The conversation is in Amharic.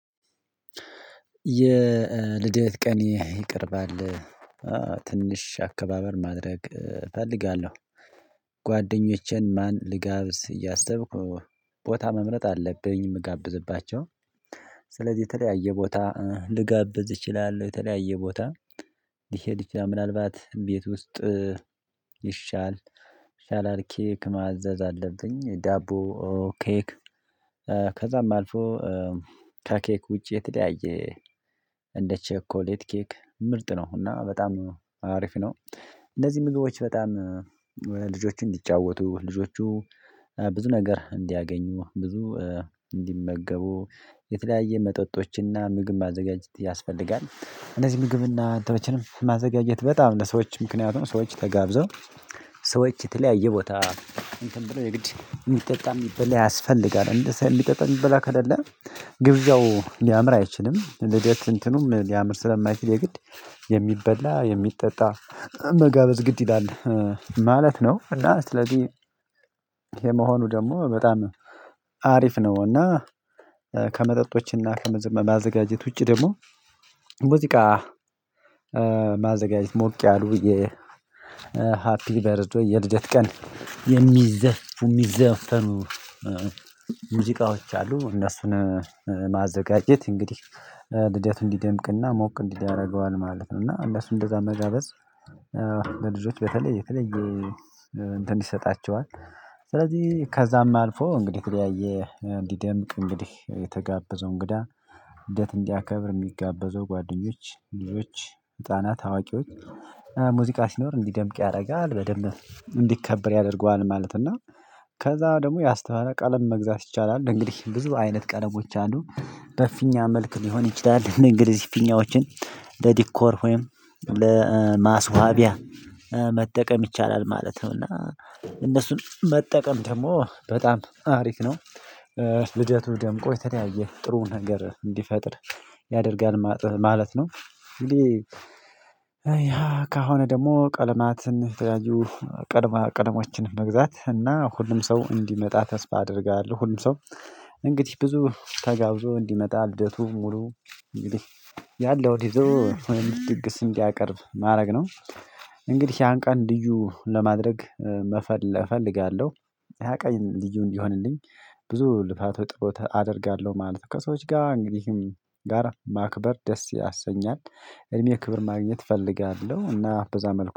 የልደት ቀኔ ይቀርባል ትንሽ አከባበር ማድረግ እፈልጋለሁ። ጓደኞቼን ማን ልጋብዝ እያሰብኩ ቦታ መምረጥ አለብኝ የምጋብዝባቸው። ስለዚህ የተለያየ ቦታ ልጋብዝ እችላለሁ የተለያየ ቦታ። ሊሄድ ይችላል ምን አልባት ቤት ውስጥ ይሻል ሻላል ኬክ ማዘዝ አለብኝ ዳቦ ኬክ። ከዛም አልፎ ከኬክ ውጪ የተለያየ እንደ ቸኮሌት ኬክ ምርጥ ነው እና በጣም አሪፍ ነው። እነዚህ ምግቦች በጣም ልጆችን እንዲጫወቱ ልጆቹ ብዙ ነገር እንዲያገኙ ብዙ እንዲመገቡ የተለያየ መጠጦችና ምግብ ማዘጋጀት ያስፈልጋል። እነዚህ ምግብና አንተንም ማዘጋጀት በጣም ለሰዎች ምክንያቱም ሰዎች ተጋብዘው ሰዎች የተለያየ ቦታ እንትን ብለው የሚጠጣ የሚበላ ያስፈልጋል። እንደዚህ የሚጠጣ የሚበላ ከሌለ ግብዣው ሊያምር አይችልም። ልደት እንትኑም ሊያምር ስለማይችል የግድ የሚበላ የሚጠጣ መጋበዝ ግድ ይላል ማለት ነው። እና ስለዚህ ይኼ መሆኑ ደግሞ በጣም አሪፍ ነው። እና ከመጠጦችና ከመማዘጋጀት ውጪ ደግሞ ሙዚቃ ማዘጋጀት ሞቅ ያሉ የሃፒ ቨርዝ ዴይ የልደት ቀን የሚዘፉ የሚዘፈኑ ሙዚቃዎች አሉ። እነሱን ማዘጋጀት እንግዲህ ልደቱ እንዲደምቅና ሞቅ እንዲል ያደርገዋል ማለት ነው። እና እነሱ እንደዛ መጋበዝ ለልጆች በተለየ የተለየ እንትን ይሰጣቸዋል። ስለዚህ ከዛም አልፎ እንግዲህ የተለያየ እንዲደምቅ እንግዲህ የተጋበዘው እንግዳ ልደት እንዲያከብር የሚጋበዘው ጓደኞች ልጆች ህፃናት አዋቂዎች ሙዚቃ ሲኖር እንዲደምቅ ያደርጋል በደንብ እንዲከበር ያደርገዋል። ማለት እና ከዛ ደግሞ ያስተዋለ ቀለም መግዛት ይቻላል። እንግዲህ ብዙ አይነት ቀለሞች አንዱ በፊኛ መልክ ሊሆን ይችላል። እንግዲህ ፊኛዎችን ለዲኮር ወይም ለማስዋቢያ መጠቀም ይቻላል ማለት ነው። እና እነሱን መጠቀም ደግሞ በጣም አሪፍ ነው። ልደቱ ደምቆ የተለያየ ጥሩ ነገር እንዲፈጥር ያደርጋል ማለት ነው። እንግዲህ ያ ይህ ከሆነ ደግሞ ቀለማትን የተለያዩ ቀለማ ቀለሞችን መግዛት እና ሁሉም ሰው እንዲመጣ ተስፋ አደርጋለሁ። ሁሉም ሰው እንግዲህ ብዙ ተጋብዞ እንዲመጣ ልደቱ ሙሉ እንግዲህ ያለውን ይዞ ትንሽ ድግስ እንዲያቀርብ ማድረግ ነው። እንግዲህ ያን ቀን ልዩ ለማድረግ መፈለ እፈልጋለሁ። ያ ቀን ልዩ እንዲሆንልኝ ብዙ ልፋት ጸሎት አደርጋለሁ ማለት ነው። ከሰዎች ጋር እንግዲህም ጋር ማክበር ደስ ያሰኛል። እድሜ ክብር ማግኘት እፈልጋለሁ እና በዛ መልኩ